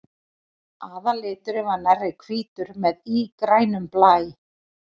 Aðalliturinn er nærri hvítur með ígrænum blæ.